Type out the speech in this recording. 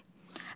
Oqtay.